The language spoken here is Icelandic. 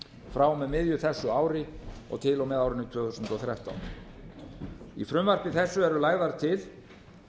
frá og með miðju á þessu ári og til og með árinu tvö þúsund og þrettán í frumvarpi þessu er lagt til